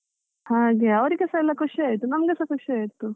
ಹಾಗೆ, ಅವ್ರಿಗೆಸ ಎಲ್ಲಾ ಖುಷಿ ಆಯ್ತು ನಮ್ಗೆಸ ಖುಷಿ ಆಯ್ತು.